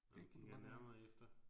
Når jeg kigger nærmere efter